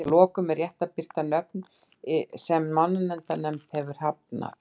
Að lokum er rétt að birta lista yfir nöfn sem mannanafnanefnd hefur hafnað.